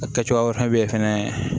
A kɛ cogoya wɛrɛ be yen fɛnɛ